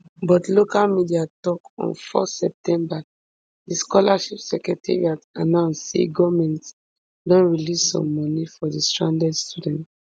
but local media tok on four september di scholarship secretariat announce say goment don release some moni for di stranded students